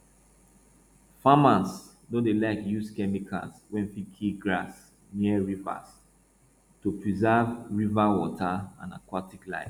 farmers no dey like use chemicals wey fit kill grass near rivers to preserve river water and aquatic life